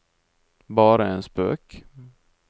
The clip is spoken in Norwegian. bare en spøk